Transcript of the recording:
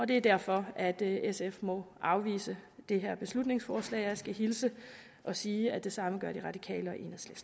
det er derfor at sf må afvise det her beslutningsforslag jeg skal hilse og sige at det samme gør de radikale